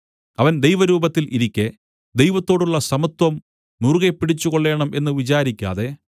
അവൻ ദൈവരൂപത്തിൽ ഇരിക്കെ ദൈവത്തോടുള്ള സമത്വം മുറുകെ പിടിച്ചുകൊള്ളേണം എന്ന് വിചാരിക്കാതെ